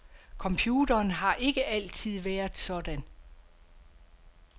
Computeren har ikke altid været sådan.